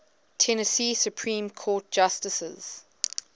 tennessee supreme court justices